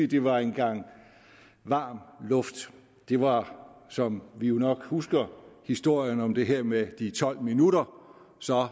det var en gang varm luft det var som vi jo nok husker historien om det her med de tolv minutter og så